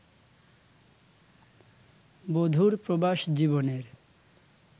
বধুর প্রবাস-জীবনের